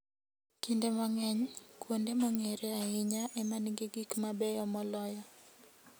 Kinde mang'eny, kuonde mong'ere ahinya ema nigi gik mabeyo moloyo.